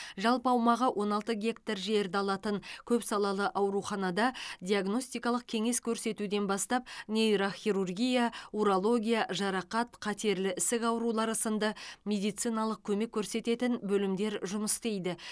жалпы аумағы он алты гектар жерді алатын көпсалалы ауруханада диагностикалық кеңес көрсетуден бастап нейрохирургия урология жарақат қатерлі ісік аурулары сынды медициналық көмек көрсететін бөлімдер жұмыс істейді